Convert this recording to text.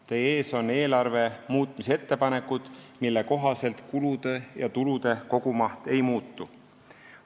Teie ees on eelarve muutmise ettepanekud, mille kohaselt kulude ja tulude kogumaht ei muutu.